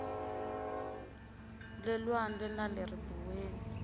le lwandle na le ribuweni